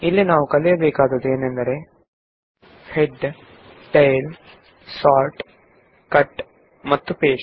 ಇಲ್ಲಿ ನಾವು head tail sort cut ಮತ್ತು ಪೇಸ್ಟ್ ಗಳ ಬಗ್ಗೆ ಕಲಿಯಲಿದ್ದೇವೆ